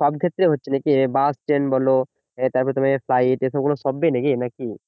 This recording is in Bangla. সব ক্ষেত্রে হচ্ছে নাকি বাস ট্রেন বল তারপরে তে ফ্লাইট এই সব গুলো সবেতেই নাকি